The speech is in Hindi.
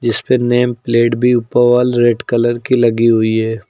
इस पे नेम प्लेट भी ऊपर वाल रेड कलर की लगी हुई है।